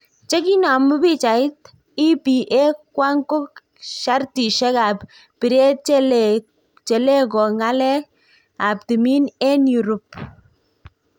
Chekinamu pichait, EPA kwang ko shartishek ap piret che lee ko ngalek ap timin en eurupe..